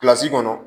kɔnɔ